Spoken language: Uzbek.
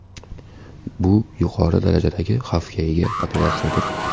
Bu yuqori darajadagi xavfga ega operatsiyadir.